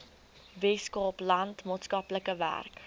weskaapland maatskaplike werk